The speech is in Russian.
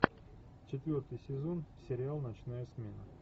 четвертый сезон сериал ночная смена